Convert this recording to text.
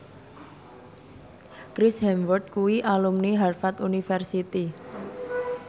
Chris Hemsworth kuwi alumni Harvard university